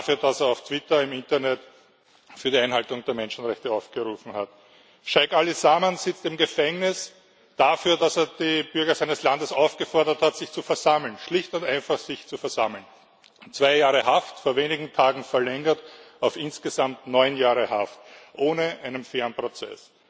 Dafür, dass er auf Twitter im Internet zur Einhaltung der Menschenrechte aufgerufen hat. Scheich Ali Salman sitzt im Gefängnis dafür, dass er die Bürger seines Landes aufgefordert hat, sich zu versammeln, schlicht und einfach sich zu versammeln. Zwei Jahre Haft, vor wenigen Tagen verlängert auf insgesamt neun Jahre Haft ohne einen fairen Prozess.